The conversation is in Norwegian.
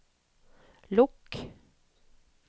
lukk